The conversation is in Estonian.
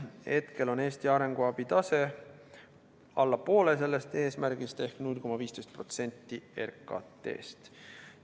Hetkel on Eesti arenguabi tase alla poole sellest eesmärgist ehk 0,15% RKT-st.